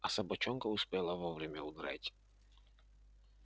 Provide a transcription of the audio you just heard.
а собачонка успела вовремя удрать